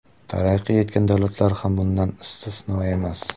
Taraqqiy etgan davlatlar ham bundan istisno emas.